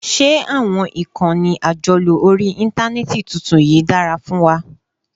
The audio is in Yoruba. Ṣé àwọn ìkànnì àjọlò orí Íńtánẹ́ẹ̀tì tuntun yìí dára fún wa?